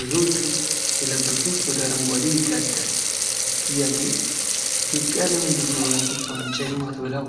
ብዙዎቹ የለበሱት ወደ አረንጓዴ ይዳዳል ፤ ጥያቄ ኢትዮጵያ ለምንድነው የአፍሪካ ዋንጫ የማትበላው?